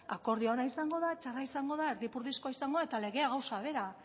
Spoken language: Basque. akordio ona izango da txarra izango da erdipurdikoa izango da eta legea gauza bera